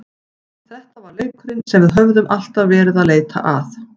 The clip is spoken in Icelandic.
Þetta var leikurinn sem við höfðum alltaf verið að leita að.